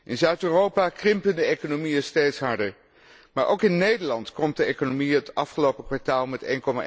In Zuid Europa krimpen de economieën steeds harder, maar ook in Nederland kromp de economie het afgelopen kwartaal met